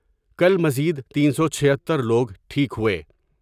کل مزید تین سو چہھتر لوگ ٹھیک ہوئے ۔